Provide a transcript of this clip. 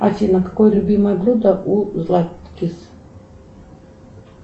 афина какое любимое блюдо у златкис